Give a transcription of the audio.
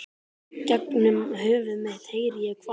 Gegnum höfuð mitt heyri ég hvað